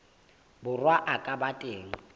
borwa a ka ba teng